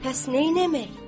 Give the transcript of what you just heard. Pəs neynəmək?